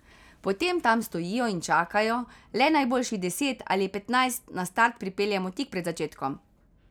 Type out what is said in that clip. Potem tam stojijo in čakajo, le najboljših deset ali petnajst na start pripeljemo tik pred začetkom.